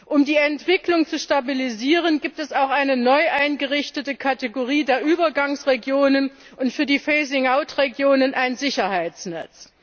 Um die Entwicklung zu stabilisieren, gibt es auch noch eine neu eingerichtete Kategorie der Übergangsregionen und für die Phasing out Regionen ein Sicherheitsnetz.